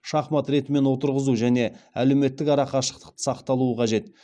шахмат ретімен отырғызу және әлеуметтік ара қашықтықты сақталуы қажет